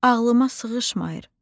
Ağlıma sığışmayır.